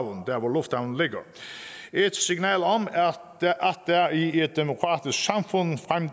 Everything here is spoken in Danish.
et signal om at der i